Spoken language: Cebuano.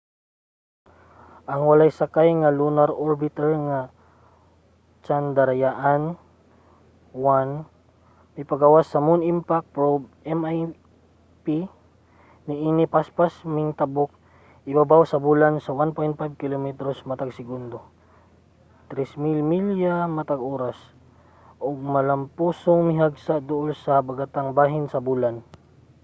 ang walay sakay nga lunar orbiter nga chandrayaan-1 mipagawas sa moon impact probe mip niini nga paspas mingtabok ibabaw sa bulan sa 1.5 kilometros matag segundo 3000 milya matag oras ug malampusong mihagsa duol sa habagatang bahin sa bulan